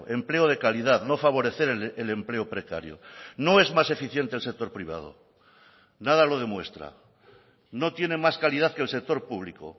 empleo de calidad no favorecer el empleo precario no es más eficiente el sector privado nada lo demuestra no tiene más calidad que el sector público